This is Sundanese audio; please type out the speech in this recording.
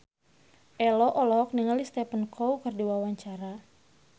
Ello olohok ningali Stephen Chow keur diwawancara